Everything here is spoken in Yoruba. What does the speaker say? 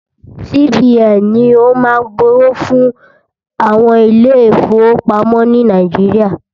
CBN ni o má ń gbẹ́ owó fún àwọn ilé ìfọwọ́pamo ni Nàíjíríà.